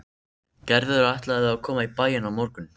Gerður ætlaði að koma í bæinn á morgun.